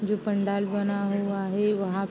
जो पंडाल बना हुआ है वहाँ --